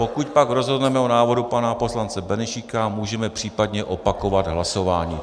Pokud pak rozhodneme o návrhu pana poslance Benešíka, můžeme případně opakovat hlasování.